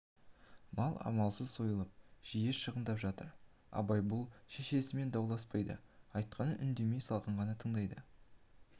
мал амалсыз сойылып жиі шығындап жатыр абай бұл шешесімен дауласпайды айтқанын үндемей салқын ғана тыңдайды да